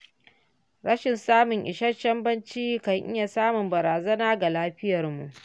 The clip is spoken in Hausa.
Rashin samun isasshen bacci kan iya zama barazana ga lafiyarmu.